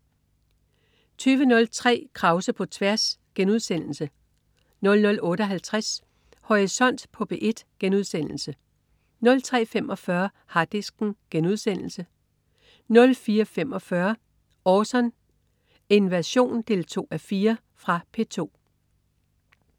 20.03 Krause på tværs* 00.58 Horisont på P1* 03.45 Harddisken* 04.45 Orson: Invasion 2:4. Fra P2